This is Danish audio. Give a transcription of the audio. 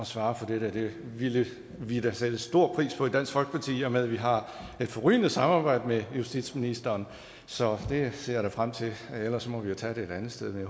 svare for det ville vi da sætte stor pris på i dansk folkeparti i og med at vi har et forrygende samarbejde med justitsministeren så det ser jeg frem til ellers må vi jo tage det et andet sted men